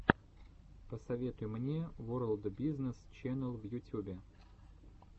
посоветуй мне ворлд бизнес ченел в ютюбе